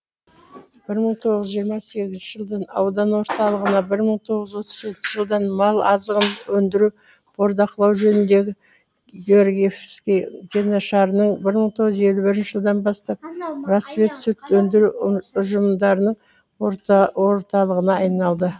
бір мың тоғыз жүз жиырма сегізінші жылдың аудан орталығына бір мың тоғыз жүз отыз жетінші жылдан мал азығын өндіру бордақылау жөніндегі георгиевский кеңешарының бір мың тоғыз жүз елі бірінші жылдан бастап рассвет сүт өндіру ұжымшарының орталығына айналды